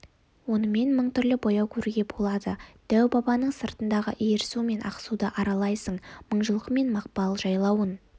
онымен мың түрлі бояу көруге болады дәу-бабаның сыртындағы иірсу мен ақсуды аралайсың мыңжылқы мен мақпал жайлауын